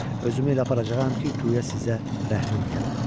Özümü elə aparacağam ki, guya sizə rəhmim gəlib.